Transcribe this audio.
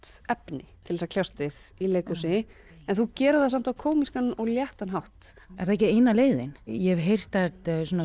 efni til að kljást við í leikhúsi en þú gerir það samt á kómískan og léttan hátt er það ekki eina leiðin ég hef heyrt að